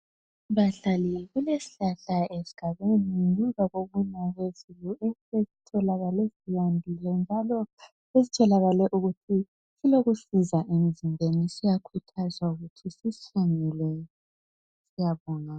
Bahlali kulesihlahla esigabeni ngemva kokuna kwezulu esitholakale sihambile njalo esitholakale ukuthi silokusiza emzimbeni siyakhuthazwa ukuthi sisihlanyele. Siyabonga